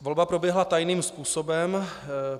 Volba proběhla tajným způsobem.